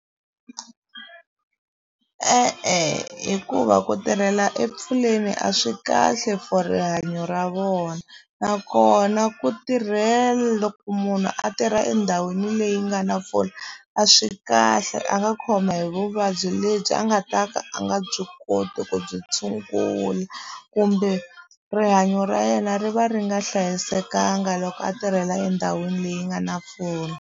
E-e hikuva ku tirhela epfuleni a swi kahle for rihanyo ra vona nakona ku loko munhu a tirha endhawini leyi nga na mpfula a swi kahle a nga khoma hi vuvabyi lebyi a nga ta ka a nga byi koti ku byi tshungula kumbe rihanyo ra yena ri va ri nga hlayisekanga loko a tirhela endhawini leyi nga na pfuna.